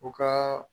U ka